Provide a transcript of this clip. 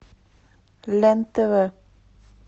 лен тв